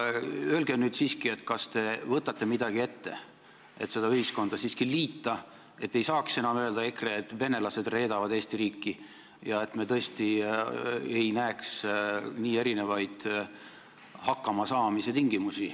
Öelge nüüd siiski, kas te võtate selle ühiskonna liitmiseks midagi ette, et EKRE ei saaks enam öelda, et venelased reedavad Eesti riiki, ja et me tõesti ei näeks kahe rahvuse puhul nii erinevaid hakkamasaamise tingimusi.